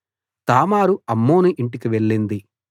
తామారు Amnon ఇంటికి వెళ్ళింది